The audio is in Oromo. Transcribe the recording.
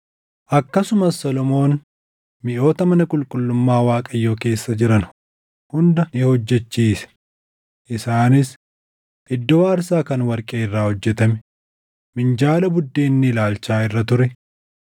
Akkasumas Solomoon miʼoota mana qulqullummaa Waaqayyoo keessa jiran hunda ni hojjechiise; isaanis: iddoo aarsaa kan warqee irraa hojjetame; minjaala buddeenni Ilaalchaa irra ture;